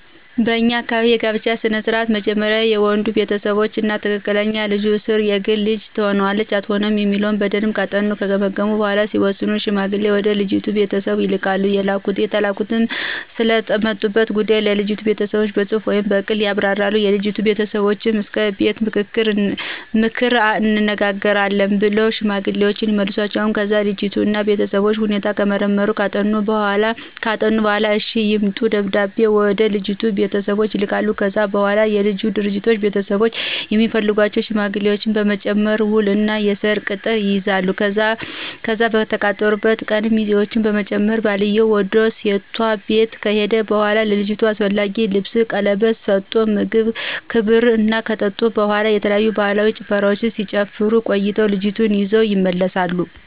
በኛ አካባቢ የጋብቻ ስነ ስርዓት መጀመሪያ የወንዱ ቤተሰቦች እና ክትትል ልጁም እስር የግል ልጅ ትሆነናለች አትሆንም የሚለውን በደምብ ካጠኑና ከገመገሙ በኋላ ሲወስኑ ሽማግሌ ወደ ልጅቱ ቤተሰቦች ይልካሉ የተላኩትም ስለመጡበት ጉዳይ ለልጅቱ ቤተሰቦች በጽሁፍ ወይም ብቅል ያብራራሉ፤ የልጅቱ ቤተሰቦችም እስከ ከቤት ምክርን እንነግራቹአለን ብለው ሽማግሌወችን ይመልሷቸዋል። ከዛ የልጁን እና የቤተሰቡን ሁኔታ ከመረመሩና ካጠኑ በኋላ እሽ ይምረጡ ደብዳቤ ወደልጁ ቤተሰቦች ይልካሉ። ከዛ በኋላ የልጁና ድርጅት ቤተሰቦች የሚፈልጓቸውን ሽማግሌዎች በመጨመር ውል እና የሰርግ ቅጥር ይይዛሉ፤ ከዛ በተቃጠሩበት ቀን ሚዜውችን በመጨመር ባልየው ውድ ሴቷ ቤት ከሄደ በኋላ ለልጅቷ አስፈላጊውን ልብስን ቀለበት ስቶ ምግብ ክብር እና ከጠጡ በኋላ የተለያዩ ባህላዊ ጭፈራወችን ሲጨፍሩ ቆይተው ልጅቷን ይዘው ይመለሳሉ።